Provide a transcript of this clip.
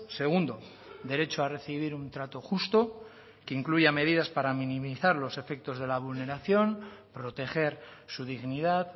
segundo derecho a recibir un trato justo que incluya medidas para minimizar los efectos de la vulneración proteger su dignidad